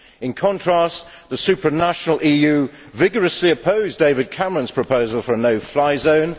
In contrast, the supranational EU vigorously opposed David Cameron's proposal for a no fly zone.